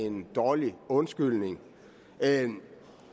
en dårlig undskyldning jeg